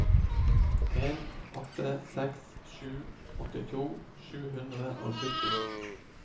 en åtte seks sju åttito sju hundre og sytti